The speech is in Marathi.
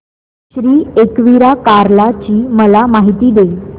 श्री एकविरा कार्ला ची मला माहिती दे